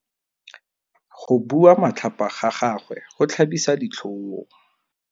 Go bua matlhapa ga gagwe go tlhabisa ditlhong.